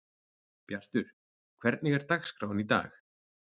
Bjartur, hvernig er dagskráin í dag?